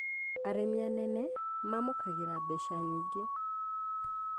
Arĩmi anene mamũkagĩra mbeca nyingĩ